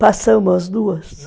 Passamos as duas.